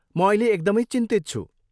म अहिले एकदमै चिन्तित छु।